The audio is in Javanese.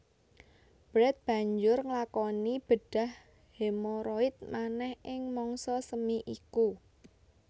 Brett banjur nglakoni bedhah hemoroid manèh ing mangsa semi iku